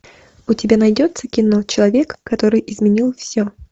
у тебя найдется кино человек который изменил все